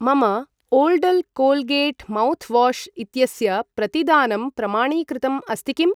मम ओल्डल् Colgate mouthwash इत्यस्य प्रतिदानं प्रमाणीकृतम् अस्ति किम् ?